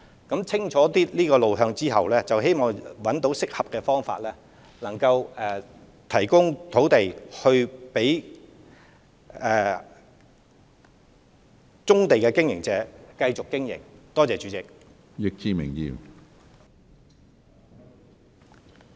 當得出清楚路向後，希望能找到適合的方法提供土地，供棕地業務經營者繼續營運。